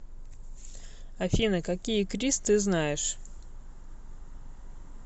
афина какие крис ты знаешь